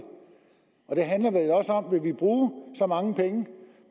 om vi vil bruge så mange penge